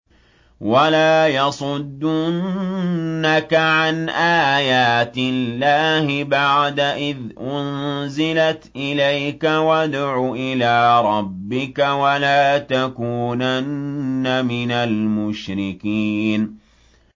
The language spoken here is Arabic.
وَلَا يَصُدُّنَّكَ عَنْ آيَاتِ اللَّهِ بَعْدَ إِذْ أُنزِلَتْ إِلَيْكَ ۖ وَادْعُ إِلَىٰ رَبِّكَ ۖ وَلَا تَكُونَنَّ مِنَ الْمُشْرِكِينَ